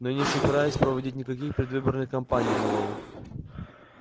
но я не собираюсь проводить никаких предвыборных кампаний мэллоу